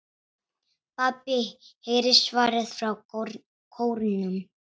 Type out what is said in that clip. PABBI heyrist svarað frá kórnum.